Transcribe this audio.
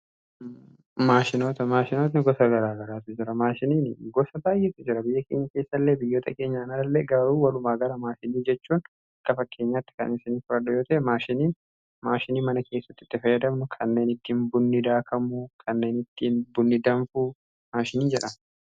maashinota. maashinooti gosa garaa garaatu jira maashiniin gosa baay'eetu jira. biyya keenya keessa illee biyyoota keenyaan ala illee gaa'uu warumaa gara maashinii jechuun ka fakkeenyaatti kan isanii furadha yoota maashinii mana keessattitti fayyadamnu kanneen ittiin bunnidaakamuu kanneen ittiin bunnidanfuu maashiniin jedha